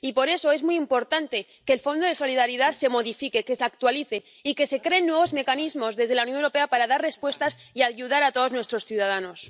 Y, por eso, es muy importante que el Fondo de Solidaridad se modifique, que se actualice y que se creen nuevos mecanismos desde la Unión Europea para dar respuestas y ayudar a todos nuestros ciudadanos.